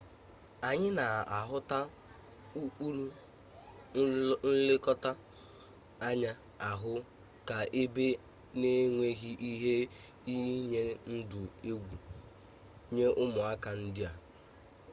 anyị na-ahụta ụkpụrụ nlekọta anya ahụ ka ebe n'enweghi ihe iyi ndụ egwu nye ụmụaka ndị a